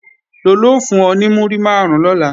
Lolú ó fún ọ ní múrí máàrún lọ́la